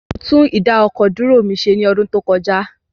Mo tún ìdá-ọkọ̀-dúró mi ṣe ní ọdún tó kọjá.